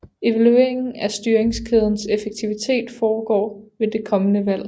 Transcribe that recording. Evalueringen af styringskædens effektivitet foregår ved det kommende valg